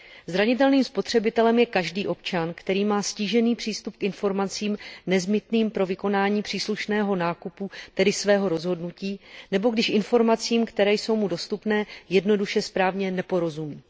Zranitelným spotřebitelem je každý občan, který má ztížený přístup k informacím nezbytným pro vykonání příslušného nákupu, tedy svého rozhodnutí, nebo který informacím, jež jsou mu dostupné, jednoduše správně neporozumí.